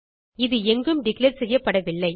இது எங்கும் டிக்ளேர் செய்யப்படவில்லை